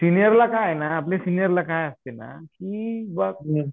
सिनियरला काय आहे ना आपल्या सिनियर ला काय असते की